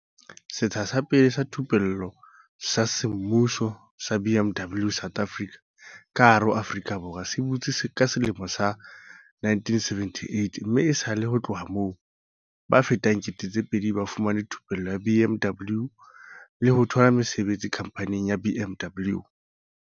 "Setsha sa pele sa thupello sa semmuso sa BMW South Africa ka hara Aforika Borwa se butswe ka selemo sa 1978 mme esale ho tloha moo, ba fetang 2 000 ba fumane thupello ya BMW le ho thola mesebetsi khamphaning ya BMW."